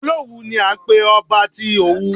Olówù ni à ń pé ọba tí Òwu.